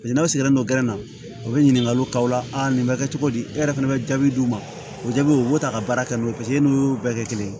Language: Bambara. Paseke n'aw sigilen don na u bɛ ɲininkaliw k'aw la a nin bɛ kɛ cogo di e yɛrɛ fana bɛ jaabi d'u ma o jaabiw u b'o ta ka baara kɛ n'o ye paseke e n'u y'u bɛɛ kɛ kelen ye